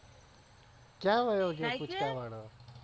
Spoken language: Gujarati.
ક્યાં વાયો ગયો પૂચકા વાળો